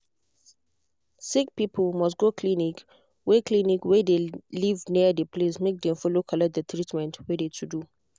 sick people must go clinic wey clinic wey de live near de place make dem follow collect de treatment wey de to do.